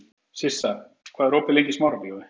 Sissa, hvað er opið lengi í Smárabíói?